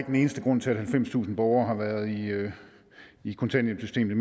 den eneste grund til at halvfemstusind borgere har været i kontanthjælpssystemet i